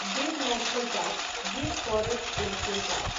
Gir national park Gir forest national park